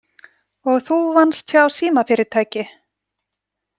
Og þú vannst hjá símafyrirtæki?